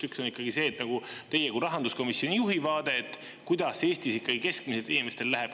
Üks on teie kui rahanduskomisjoni juhi vaade, kuidas Eestis inimestel keskmiselt läheb.